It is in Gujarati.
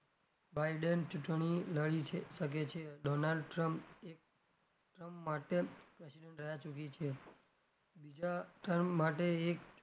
baiden ચુંટણી લડી શકે છે donald trump એક term માટે president રહ્યાં ચુકી છે બીજા term માટે એક,